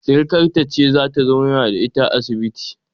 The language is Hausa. Sirikarta ce zata zauna da ita a asibitin